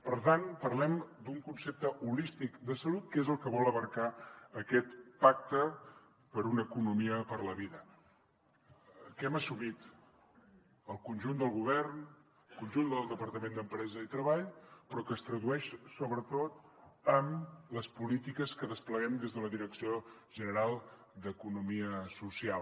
per tant parlem d’un concepte holístic de salut que és el que vol abastar aquest pacte per una economia per la vida que hem assumit el conjunt del govern el conjunt del departament d’empresa i treball però que es tradueix sobretot amb les polítiques que despleguem des de la direcció general d’economia social